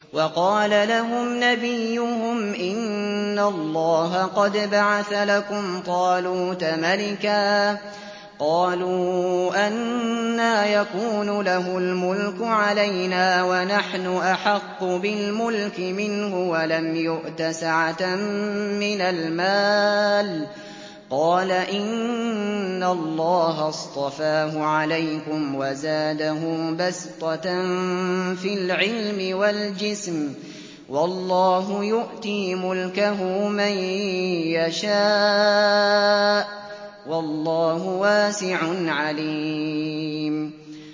وَقَالَ لَهُمْ نَبِيُّهُمْ إِنَّ اللَّهَ قَدْ بَعَثَ لَكُمْ طَالُوتَ مَلِكًا ۚ قَالُوا أَنَّىٰ يَكُونُ لَهُ الْمُلْكُ عَلَيْنَا وَنَحْنُ أَحَقُّ بِالْمُلْكِ مِنْهُ وَلَمْ يُؤْتَ سَعَةً مِّنَ الْمَالِ ۚ قَالَ إِنَّ اللَّهَ اصْطَفَاهُ عَلَيْكُمْ وَزَادَهُ بَسْطَةً فِي الْعِلْمِ وَالْجِسْمِ ۖ وَاللَّهُ يُؤْتِي مُلْكَهُ مَن يَشَاءُ ۚ وَاللَّهُ وَاسِعٌ عَلِيمٌ